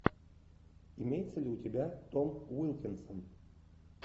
имеется ли у тебя том уилкинсон